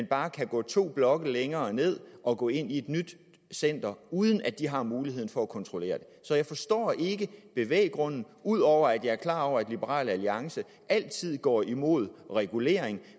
bare kan gå to blokke længere ned og gå ind i et nyt center uden at de der har mulighed for at kontrollere det så jeg forstår ikke bevæggrunden ud over at jeg er klar over at liberal alliance altid går imod regulering